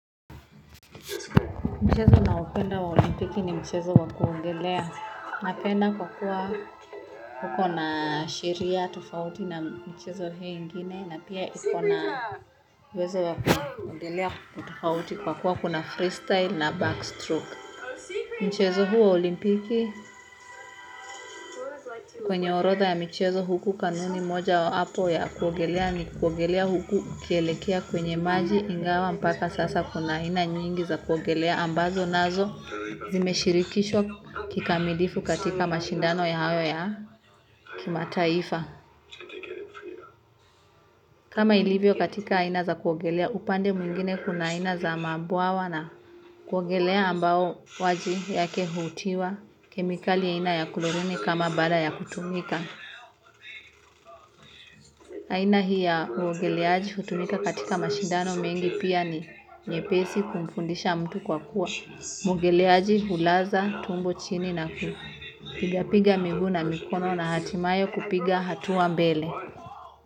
Mchezo naopenda wa olimpiki ni mchezo wa kuogelea. Napenda kwa kuwa kuko na sheria tufauti na mchezo hiyi ingine. Na pia ikona uwezo wa kuogelea tofauti kwa kuwa kuna freestyle na backstroke. Mchezo huo wa olimpiki kwenye orodha ya mchezo huku kanuni mojawapo ya kuogelea. Ni kuongelea huku ukielekea kwenye maji ingawa mpaka sasa kuna aina nyingi za kuogelea. Ambazo nazo zimeshirikishwa kikamilifu katika mashindano hayo ya kimataifa. Kama ilivyo katika aina za kuogelea upande mwingine kuna aina za mabwawa na kuogelea ambao maji yake hutiwa kemikali aina ya klorini kama baada ya kutumika. Aina hii ya uogeleaji kutumika katika mashindano mengi pia ni nyepesi kumfundisha mtu kwa kuwa. Mwogeleaji hulaza tumbo chini na ku. Pigapiga miguu na mikono na hatimaye kupiga hatua mbele.